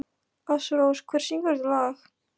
Ásrós, hver syngur þetta lag?